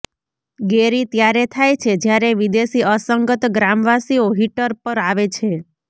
ગેરી ત્યારે થાય છે જ્યારે વિદેશી અસંગત ગ્રામવાસીઓ હીટર પર આવે છે